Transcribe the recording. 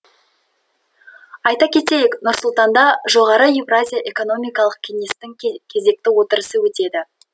айта кетейік нұр сұлтанда жоғары еуразия экономикалық кеңестің кезекті отырысы өтеді